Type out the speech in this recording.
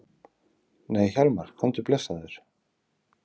Nei Hjálmar, komdu blessaður!